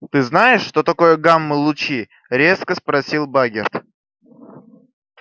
ты знаешь что такое гамма-лучи резко спросил багерт